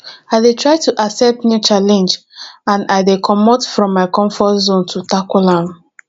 i dey try to accept new challenge and i dey comot from my comfort zone to tackle am